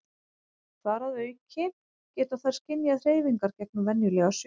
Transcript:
þar að auki geta þær skynjað hreyfingar gegnum venjulega sjón